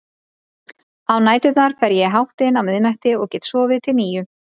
Á næturnar fer ég í háttinn á miðnætti og get sofið til níu.